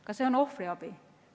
Kas see on ohvriabi?